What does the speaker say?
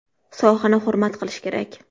Sohani hurmat qilish kerak.